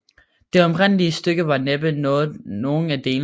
Det oprindelige stykke var næppe nogen af delene